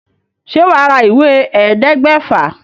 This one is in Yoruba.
Ṣe wà á ra ìwé ẹ̀ẹ́dẹgbèfà?